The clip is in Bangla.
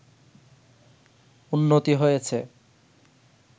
উন্নতি হয়েছে